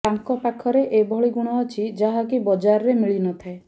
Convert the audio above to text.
ତାଙ୍କ ପାଖରେ ଏଭଳି ଗୁଣ ଅଛି ଯାହାକି ବଜାରରେ ମିଳି ନଥାଏ